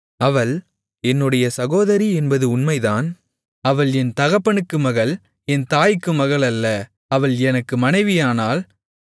அவள் என்னுடைய சகோதரி என்பதும் உண்மைதான் அவள் என் தகப்பனுக்கு மகள் என் தாய்க்கு மகளல்ல அவள் எனக்கு மனைவியானாள்